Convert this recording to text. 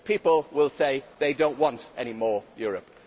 The people will say that they do not want any more Europe.